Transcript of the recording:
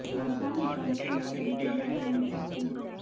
कामकाज निपटाने के नए तरीके भी आपको मिल सकते हैं